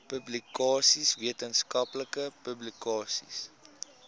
publikasies wetenskaplike publikasies